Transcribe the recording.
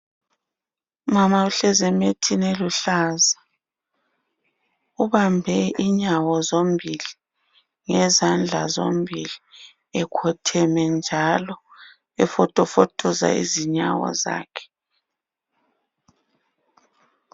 Umama uhlezi emethini eluhlaza. Ubambe inyawo zombili ngezandla zombili ekhotheme njalo efotofotoza izinyawo zakhe.